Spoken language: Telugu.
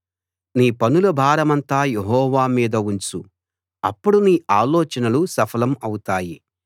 నీ పనుల భారమంతా యెహోవా మీద ఉంచు అప్పుడు నీ ఆలోచనలు సఫలం అవుతాయి